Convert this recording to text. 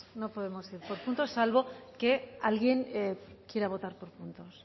ir por puntos salvo que alguien quiera votar por puntos